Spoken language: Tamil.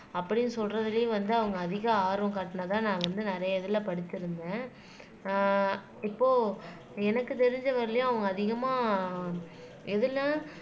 அப்படின்னு சொல்றதிலேயும் வந்து அவங்க அதிக ஆர்வம் காட்டுனாதான் நாங்க வந்து நிறைய இதுல படிச்சிருந்தேன் ஆஹ் இப்போ எனக்கு தெரிஞ்ச வரையிலும் அவங்க அதிகமா எதுல